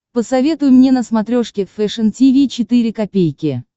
посоветуй мне на смотрешке фэшн ти ви четыре ка